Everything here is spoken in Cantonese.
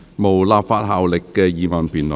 無立法效力的議案辯論。